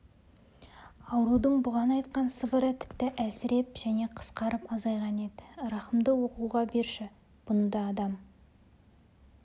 аурудың бұған айтқан сыбыры тіпті әлсіреп және қысқарып азайған еді рахымды оқуға берші бұны да адам